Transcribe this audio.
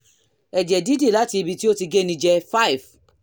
ẹ̀jẹ̀ dídì láti ibi tí ó ti géni jẹ 5